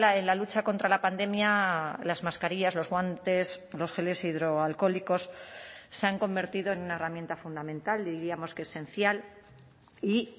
en la lucha contra la pandemia las mascarillas los guantes los geles hidroalcohólicos se han convertido en una herramienta fundamental diríamos que esencial y